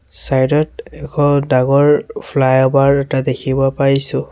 চাইডত এখন ডাঙৰ ফ্লাইঅভাৰ এটা দেখিব পাইছোঁ।